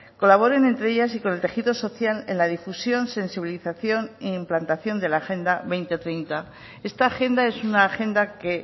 colaboren entre ellas y con el tejido social en la difusión sensibilización e implantación de la agenda dos mil treinta esta agenda es una agenda que